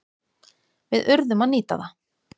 Við urðum að nýta það.